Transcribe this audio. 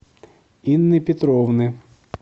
инны петровны